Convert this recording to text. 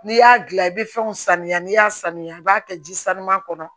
N'i y'a dilan i bɛ fɛnw sanuya n'i y'a sanuya i b'a kɛ ji sanu kɔnɔ